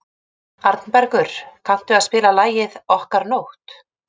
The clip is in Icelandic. Arnbergur, kanntu að spila lagið „Okkar nótt“?